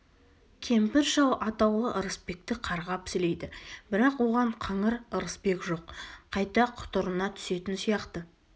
кемпір-шал атаулы ырысбекті қарғап-сілейді бірақ оған қыңыр ырысбек жоқ қайта құтырына түсетін сияқты